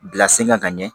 Bila sen kan ka ɲɛ